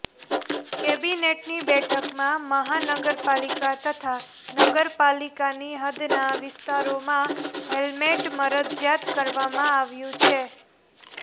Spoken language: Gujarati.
કેબિનેટની બેઠકમાં મહાનગરપાલિકા તથા નગરપાલિકાની હદના વિસ્તારોમાં હેલ્મેટ મરજિયાત કરવામાં આવ્યું છે